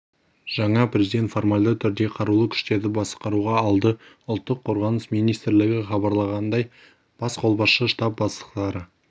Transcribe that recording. жаңа президент формальды түрде қарулы күштерді басқаруға алды ұлттық қорғаныс министрлігі хабарлағандай бас қолбасшы штаб бастықтары